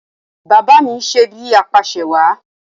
Bàbá à mi ń ṣe bíi apàṣẹwàá